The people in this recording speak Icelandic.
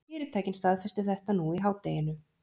Fyrirtækin staðfestu þetta nú í hádeginu